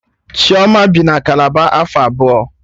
Chioma bi na Kalaba afọ abụọ